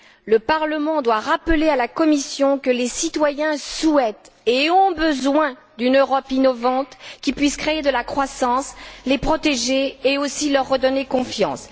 Le Parlement doit rappeler à la Commission que les citoyens souhaitent et ont besoin d'une Europe innovante qui puisse créer de la croissance, les protéger et aussi leur redonner confiance.